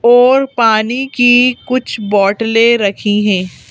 और पानी की कुछ बोटलें रखी हैं।